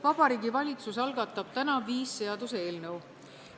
Vabariigi Valitsus algatab täna viis seaduseelnõu.